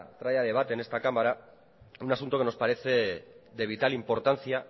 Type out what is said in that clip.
trae a debate en esta cámara un asunto que nos parece de vital importancia